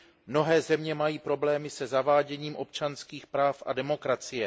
Mnohé země mají problém se zaváděním občanských práv a demokracie.